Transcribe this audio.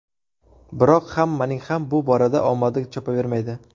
Biroq hammaning ham bu borada omadi chopavermaydi.